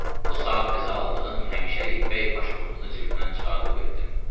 O saat təzə aldığım həmişəlik bəy pasportunu cibimdən çıxartdım.